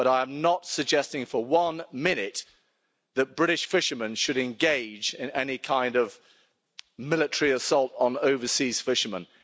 But I am not suggesting for one minute that British fishermen should engage in any kind of military assault on overseas fishermen.